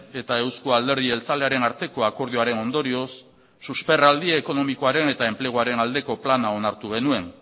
eta eusko alderdi jeltzalearen arteko akordioaren ondorioz susperraldi ekonomikoaren eta enpleguaren aldeko plana onartu genuen